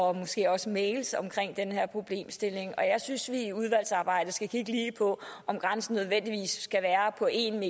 og måske også mails om den her problemstilling jeg synes vi i udvalgsarbejdet skal kigge på om grænsen nødvendigvis skal være på en